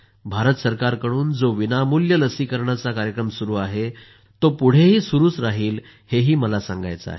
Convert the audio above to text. भारत सरकारकडून जो विनामूल्य लसीकरणाचा कार्यक्रम सुरू आहे तो पुढेही चालूच राहिल हे ही मला सांगायचं आहे